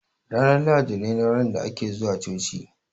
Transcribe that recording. Ranar lahadi ne ranar da ake zuwa coci